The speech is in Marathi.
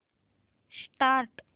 स्टार्ट